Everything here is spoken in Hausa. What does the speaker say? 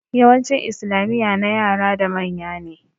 Yawancin islamiya na yara da manya ne